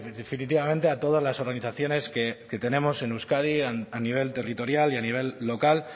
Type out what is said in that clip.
definitivamente a todas las organizaciones que tenemos en euskadi a nivel territorial y a nivel local